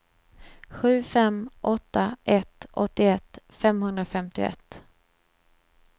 sju fem åtta ett åttioett femhundrafemtioett